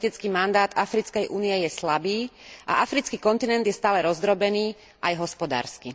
Politický mandát Africkej únie je slabý a africký kontinent je stále rozdrobený, aj hospodársky.